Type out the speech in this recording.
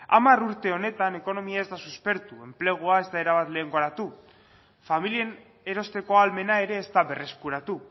hamar urte honetan ekonomia ez da suspertu enplegua ez da erabat lehengoratu familien erosteko ahalmena ere ez da berreskuratu